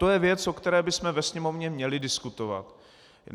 To je věc, o které bychom ve Sněmovně měli diskutovat.